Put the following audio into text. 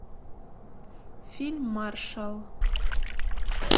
фильм маршал